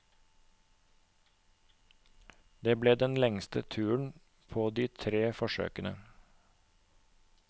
Det ble den lengste turen på de tre forsøkene.